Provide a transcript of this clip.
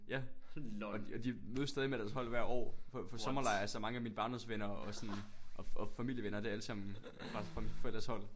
Ja og de og de mødes stadig med deres hold hver år på på sommerlejr så mange af mine barndomsvenner og sådan og og familievenner det er alle sammen fra fra mine forældres hold